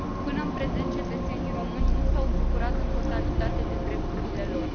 Până în prezent, cetățenii români nu s au bucurat în totalitate de drepturile lor.